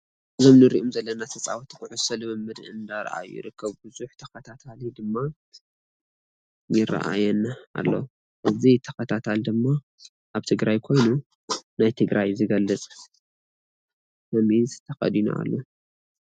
እዞም እንሪኦም ዘለና ተፃወትቲ ኩዕሶ ልምምድ እንዳርአዩ ይርከቡ። ቡዙሕ ተከታታሊ ድማ ይረአየና ኣሎ። እዚ ተከታታሊ ድማ ኣብ ትግራይ ኮይኑ ናይ ትግራይ ዝገልፅ ሰሚዝ ተከዲኑ ኣሎ።